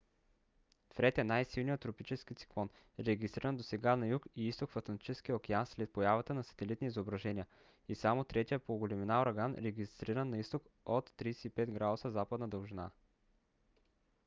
фред е най-силният тропически циклон регистриран досега на юг и изток в атлантическия океан след появата на сателитни изображения и само третият по големина ураган регистриран на изток от 35° з.д